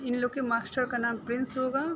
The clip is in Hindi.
इन लोग के मास्टर का नाम प्रिंस होगा।